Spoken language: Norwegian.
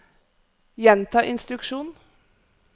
gjenta instruksjon